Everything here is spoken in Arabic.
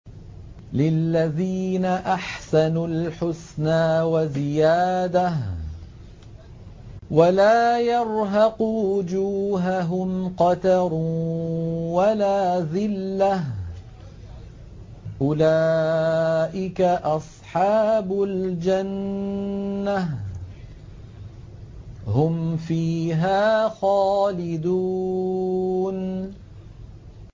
۞ لِّلَّذِينَ أَحْسَنُوا الْحُسْنَىٰ وَزِيَادَةٌ ۖ وَلَا يَرْهَقُ وُجُوهَهُمْ قَتَرٌ وَلَا ذِلَّةٌ ۚ أُولَٰئِكَ أَصْحَابُ الْجَنَّةِ ۖ هُمْ فِيهَا خَالِدُونَ